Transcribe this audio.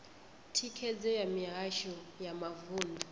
thikhedzo ya mihasho ya mavunḓu